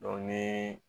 ni